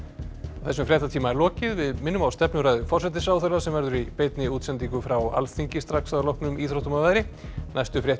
þessum fréttatíma er lokið við minnum á stefnuræðu forsætisráðherra sem verður í beinni útsendingu frá Alþingi strax að loknum íþróttum og veðri næstu fréttir